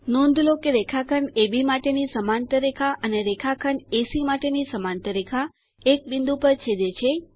નોંધ લો કે રેખાખંડ અબ માટેની સમાંતર રેખા અને રેખાખંડ એસી માટેની સમાંતર રેખા એક બિંદુ પર છેદે છે